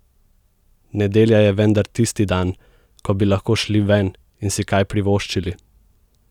Nedelja je vendar tisti dan, ko bi lahko šli ven in si kaj privoščili!